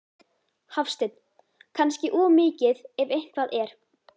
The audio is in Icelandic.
Hafsteinn: Kannski of mikið ef eitthvað er?